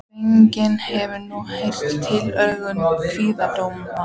Fanginn hefur nú heyrt tillögur kviðdómenda.